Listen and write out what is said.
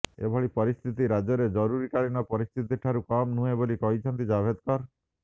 ଏଭଳି ପରିସ୍ଥିତି ରାଜ୍ୟରେ ଜରୁରୀକାଳୀନ ପରିସ୍ଥିତିଠାରୁ କମ୍ ନୁହେଁ ବୋଲି କହିଛନ୍ତି ଜାଭେଦକର